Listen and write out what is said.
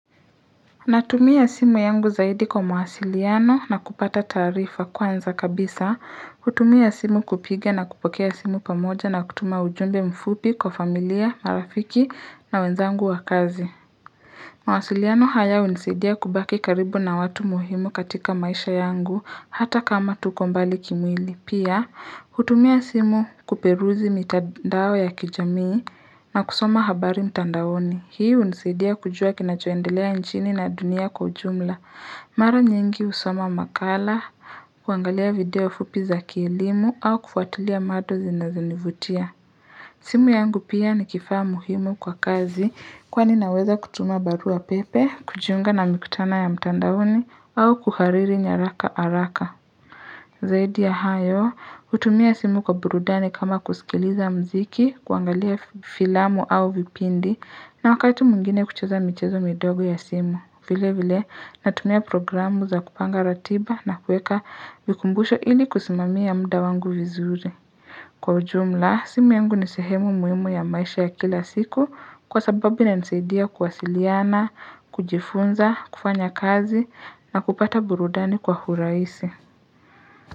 Natumia simu yangu zaidi kwa mawasiliano na kupata taarifa kwanza kabisa, hutumia simu kupiga na kupokea simu pamoja na kutuma ujumbe mfupi kwa familia, marafiki na wenzangu wakazi. Mawasiliano haya hunisadia kubaki karibu na watu muhimu katika maisha yangu hata kama tuko mbali kimwili. Pia, hutumia simu kuperuzi mitandao ya kijamii na kusoma habari mtandaoni. Hii unisaidia kujua kinachoendelea nchini na dunia kwa ujumla. Mara nyingi husoma makala, kuangalia video fupi za kielimu au kufuatilia majo zi na zinivutia. Simu yangu pia nikifaa muhimu kwa kazi kwa ninaweza kutuma barua pepe, kujiunga na mikutano ya mtandaoni au kuhariri nyaraka haraka. Zaidi ya hayo, hutumia simu kwa burudani kama kusikiliza mziki, kuangalia filamu au vipindi, na wakati mwingine kucheza michezo midogo ya simu. Vile vile, natumia programu za kupanga ratiba na kuweka vikumbusho ili kusimamia mda wangu vizuri. Kwa ujumla, simu yangu nisehemu muhimu ya maisha ya kila siku kwa sababu inanisaidia kuwasiliana, kujifunza, kufanya kazi na kupata burudani kwa hurahisi.